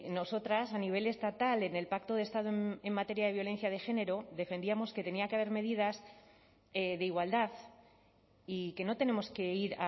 nosotras a nivel estatal en el pacto de estado en materia de violencia de género defendíamos que tenía que haber medidas de igualdad y que no tenemos que ir